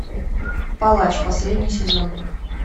палач последний сезон